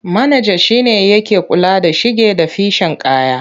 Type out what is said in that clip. Manaja shi ne yake kula da shige da ficen kaya.